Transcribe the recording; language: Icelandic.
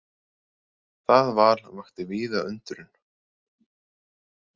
Það val vakti víða undrun.